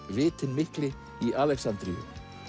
vitinn mikli í Alexandríu